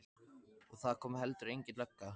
Og það kom heldur engin lögga.